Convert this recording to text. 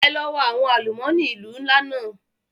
Ẹ lọ wa àwọn àlùmọ́nì ìlú ńlá náà!